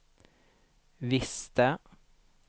visste